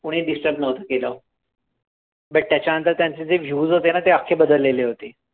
कुणीही disturb नव्हतं केलं but त्याच्यानंतर त्यांचे जे views होते ना ते अख्खे बदललेले होते.